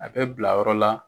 A bɛ bila yɔrɔ la